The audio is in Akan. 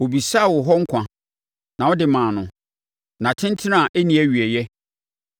Ɔbisaa wo hɔ nkwa, na wode maa no, nna tentene a ɛnni awieeɛ.